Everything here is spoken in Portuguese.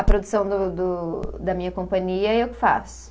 A produção do do, da minha companhia, eu que faço.